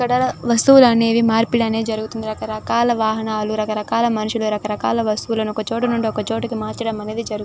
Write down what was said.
ఇక్కడ వస్తువులనేవి మార్పిడి జరుగుతూ ఉంటాయి. రకరకాల వాహనాలు రకరకాల మనుషులు రకరకాల వస్తువులు ఒక చోట నుండి మరొక చోటికి మార్చడం జరుగుతుంది.